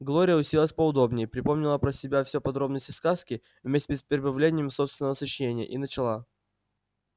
глория уселась поудобнее припомнила про себя все подробности сказки вместе с прибавлениями собственного сочинения и начала